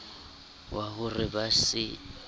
wa ho re ba se